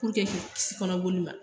k'i kisi kɔnɔboli ma.